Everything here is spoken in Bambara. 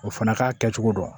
O fana k'a kɛcogo dɔn